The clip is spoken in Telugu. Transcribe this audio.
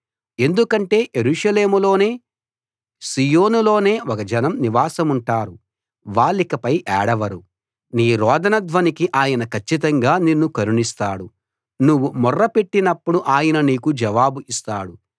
ఎందుకంటే యెరూషలేములోనే సీయోనులోనే ఒక జనం నివాసముంటారు వాళ్లికపై ఏడవరు నీ రోదన ధ్వనికి ఆయన కచ్చితంగా నిన్ను కరుణిస్తాడు నువ్వు మొర్ర పెట్టినప్పుడు ఆయన నీకు జవాబు ఇస్తాడు